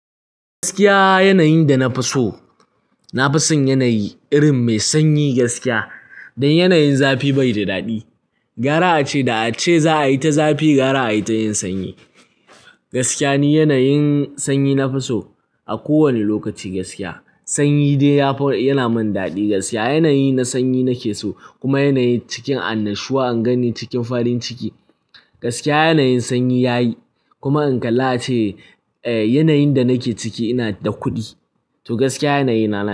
Gaskiya yanayin da na fi so, na fi son yanayi irin mai sanyi gaskiya. Don yanayin zafi bai da daɗi. Gara a ce da a ce za a yi ta zafi gara a yi ta yin sanyi. Gaskiya ni yanayin sanyi nafi so a kowani lokaci gaskiya. Sanyi dai yana min daɗi gaskiya. Yanayi na sanyi nake so kuma yanayi cikin annashuwa in ganni cikin farin ciki. Gaskiya yanayin sanyi yayi kuma in kalla ace yanayin da nake ciki ina da kuɗi. To gaskiya yanayi na.